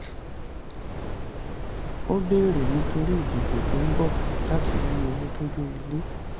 ó bèrè nítorí ìdìbò tó ń bọ̀ láti ní owó tó yó ilé.